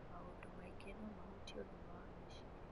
Maũndũ maingĩ no mahutie ũgima wa meciria,